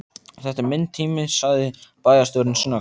Þetta er minn tími sagði bæjarstjórinn snöggt.